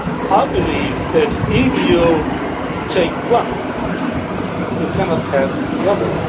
I believe that if you take one, you cannot have the other.